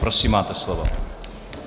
Prosím, máte slovo.